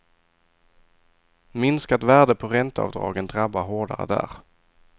Minskat värde på ränteavdragen drabbar hårdare där.